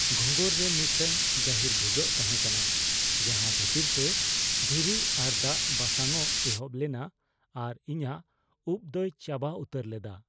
ᱜᱷᱚᱸᱜᱚᱨ ᱨᱮ ᱢᱤᱫᱴᱟᱝ ᱜᱟᱹᱦᱤᱨ ᱵᱷᱩᱜᱟᱹᱜ ᱛᱟᱦᱮᱸ ᱠᱟᱱᱟ ᱡᱟᱦᱟᱸ ᱵᱷᱤᱛᱟᱹᱨ ᱛᱮ ᱫᱷᱤᱨᱤ ᱟᱨ ᱫᱟᱜ ᱵᱟᱥᱟᱝᱼᱚᱜ ᱮᱦᱚᱵ ᱞᱮᱱᱟ ᱟᱨ ᱤᱧᱟᱹᱜ ᱩᱵ ᱫᱚᱭ ᱪᱟᱵᱟ ᱩᱛᱟᱹᱨ ᱞᱮᱫᱟ ᱾